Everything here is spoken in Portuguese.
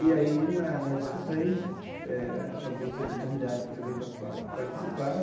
E aí, na na discussão, a gente eh acabou sendo convidado também para para participar.